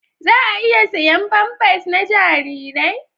Za a iya siyan famfas na jarirai?